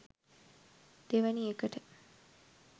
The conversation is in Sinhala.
දෙවෙනි එකට